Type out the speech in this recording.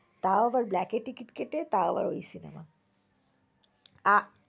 তাও আবার black এ ticket কেটে তাও আবার ওই cinema আ~